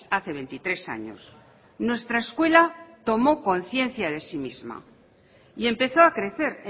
hace veintitrés años nuestra escuela tomó conciencia de sí misma y empezó a crecer